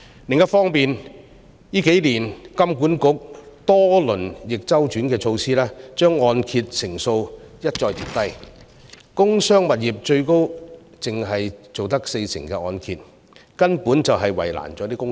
另一方面，香港金融管理局近數年多番推出逆周期措施，將按揭成數一再調低，工商物業最高只能承造四成按揭，根本是為難了公司。